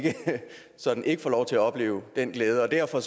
sådan i får lov til at opleve den glæde og derfor